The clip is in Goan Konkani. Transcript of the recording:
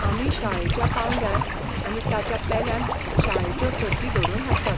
आमी शाळेच्या पांवड्यार आनी ताच्या पेल्यान शाळेच्यो सर्ती घडोवन हाडटात.